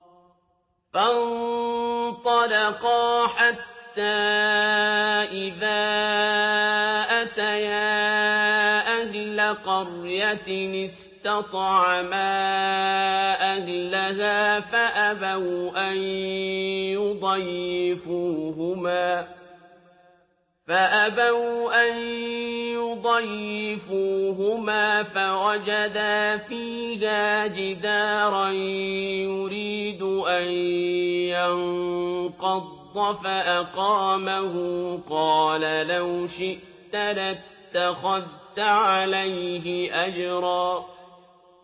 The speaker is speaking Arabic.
فَانطَلَقَا حَتَّىٰ إِذَا أَتَيَا أَهْلَ قَرْيَةٍ اسْتَطْعَمَا أَهْلَهَا فَأَبَوْا أَن يُضَيِّفُوهُمَا فَوَجَدَا فِيهَا جِدَارًا يُرِيدُ أَن يَنقَضَّ فَأَقَامَهُ ۖ قَالَ لَوْ شِئْتَ لَاتَّخَذْتَ عَلَيْهِ أَجْرًا